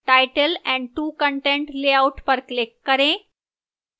title and 2 content layout पर click करें